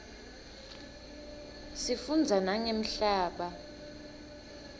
sifundza nangemhlaba